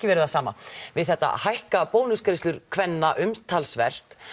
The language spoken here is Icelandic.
verið það sama við þetta hækka bónusgreiðslur kvenna umtalsvert